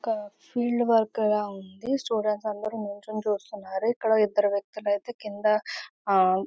ఇక్కడ field work గా ఉంది. స్టూడెంట్స్ అందరూ ఎంజాయ్ చేస్తున్నారు. ఇక్కడ ఇద్దరు వ్వక్తులు ఐతే క్రింద ఆయా--